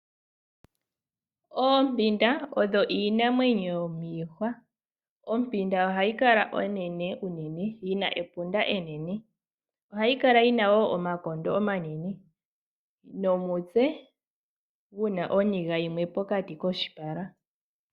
Oompinda odho iinamwenyo yomiihwa. Ompinda ohayi kala onene unene, yina epunda enene. Ohayi kala yina wo omakondo omanene nomutse guna oniga yimwe pokati koshipala.